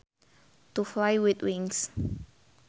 To fly with wings